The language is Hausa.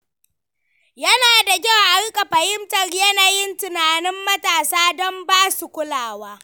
Yana da kyau a riƙa fahimtar yanayin tunanin matasa don ba su kulawa.